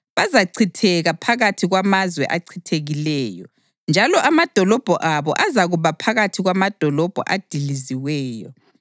Bazachitheka phakathi kwamazwe achithekileyo, njalo amadolobho abo azakuba phakathi kwamadolobho adiliziweyo.